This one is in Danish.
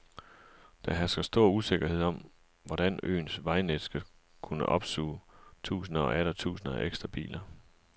Der hersker stor usikkerhed om, hvordan øens vejnet skal kunne opsuge tusinder og atter tusinder af ekstra biler.